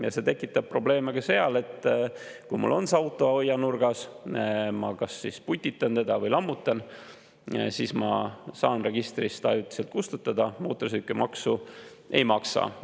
Ja see tekitab probleeme ka sellega, et kui mul on auto seal aianurgas, ma kas putitan teda või lammutan, siis ma saan ta registrist ajutiselt kustutada ja mootorsõidukimaksu ei maksa.